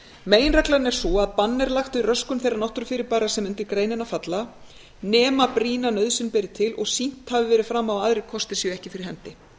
meginreglan er sú að bann er lagt við röskun þeirra náttúrufyrirbæra sem undir greinina falla nema brýna nauðsyn beri til og sýnt hafi verið fram á að aðrir kostir séu ekki fyrir hendi